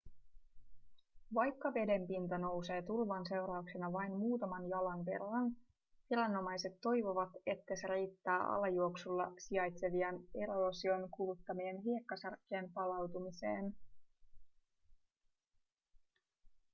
vaikka vedenpinta nousee tulvan seurauksena vain muutaman jalan verran viranomaiset toivovat että se riittää alajuoksulla sijaitsevien eroosion kuluttamien hiekkasärkkien palautumiseen